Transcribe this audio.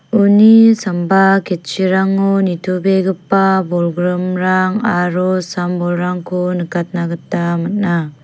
uni sambao ketchirango nitobegipa bolgrimrang aro sam-bolrangko nikatna gita man·a.